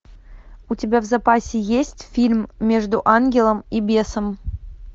у тебя в запасе есть фильм между ангелом и бесом